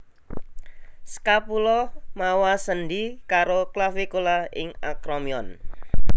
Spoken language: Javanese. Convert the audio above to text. Scapula mawa sendhi karo clavicula ing acromion